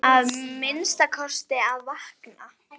Að minnsta kosti að vakna.